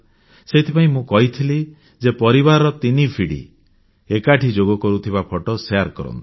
ସେଥିପାଇଁ ମୁଁ କହିଥିଲି ଯେ ପରିବାରର ତିନି ପିଢ଼ି ଏକାଠି ଯୋଗ କରୁଥିବା ଫଟୋ ଶେୟାର କରନ୍ତୁ